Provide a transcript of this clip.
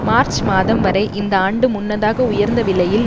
March மாதம் வரை இந்த ஆண்டு முன்னதாக உயர்ந்த விலையில்